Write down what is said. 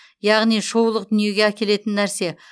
яғни шоулық дүниеге әкелетін нәрсе